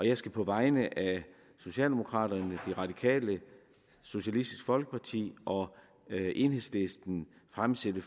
jeg skal på vegne af socialdemokraterne de radikale socialistisk folkeparti og enhedslisten fremsætte